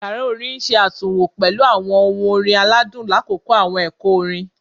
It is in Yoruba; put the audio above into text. Yara orin n ṣe atunwo pẹlu awọn ohun orin aladun lakoko awọn ẹkọ orin